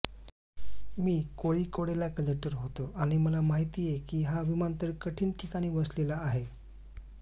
मी कोळीकोडेला कलेक्टर होतो आणि मला माहितेय की हा विमानतळ कठीण ठिकाणी वसलेला आहे